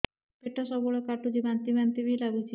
ପେଟ ସବୁବେଳେ କାଟୁଚି ବାନ୍ତି ବାନ୍ତି ବି ଲାଗୁଛି